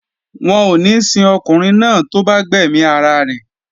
Wọn ò ní sin ọkùnrin náà tó bá gbẹ̀mí ara rẹ̀